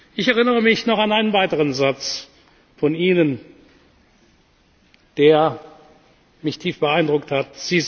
Ich erinnere mich auch noch an einen weiteren Satz von Ihnen, der mich tief beeindruckt hat.